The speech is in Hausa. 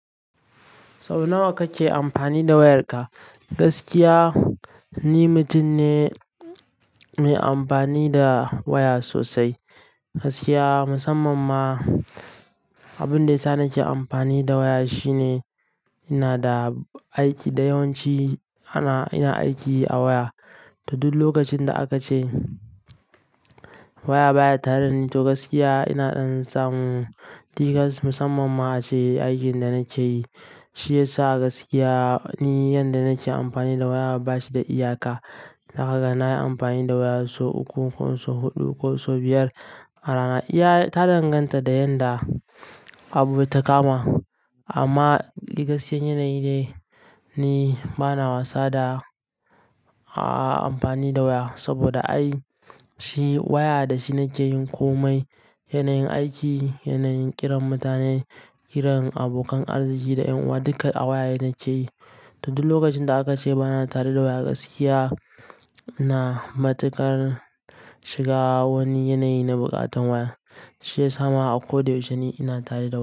Sau nawa kake amfani da wayarka? Gaskiya, ni mutum ne mai amfani da waya sosai. Gaskiya, musamman ma abin da isa nake amfani da waya shine ina da aiki da yawanci ana-- ina aiki a waya. Da duk lokacin da aka ce waya baya tare da ni, to gaskiya ina ɗan samu cikas musamman ma a aikin da nake yi. Shi ya sa gaskiya ni yanda nake amfani da waya ba shi da iyaka. Na haka na yi amfani da waya so uku ko so huɗu ko so biyar a rana. Ya-- ta danganta da yanda abu bai takama. Amma gaskiyar yanayi ne bana wasa da, a'a amfani da waya saboda ai shi waya da shi nake yin komai. Yanayin aiki, yanayin ƙiran mutane, ƙiran abokan arziki da yunwa duka a waya ne nake yi. Da duk lokacin da aka ce bana tare da waya gaskiya, ina matuƙar shiga wani yanayi na buƙatar waya. Shi ya sa mawa a koda yaushe ni ina tare da waya.